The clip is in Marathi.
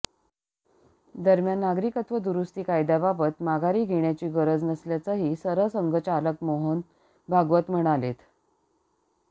दरम्यान नागरिकत्व दुरुस्ती कायद्याबाबत माघारी घेण्याची गरज नसल्याचंही सरसंघचालक मोहन भागवत म्हणालेत